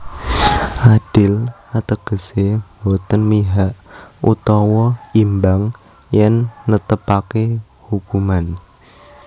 Adil ategese boten mihak utawa imbang yen netepake ukuman